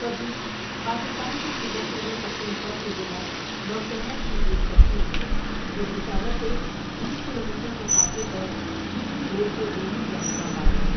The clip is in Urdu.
پبی پاکستان کے صوبہ خیبر پختونخوا کے ضلع نوشہرہ کی ایک تحصیل ہےجوپشاورسے بیس کلومیٹر کےفاصلہ پر جی ٹی روڈ کے دونوں جانب اباد ہیں ۔